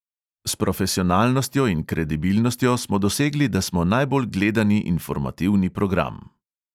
S profesionalnostjo in kredibilnostjo smo dosegli, da smo najbolj gledani informativni program.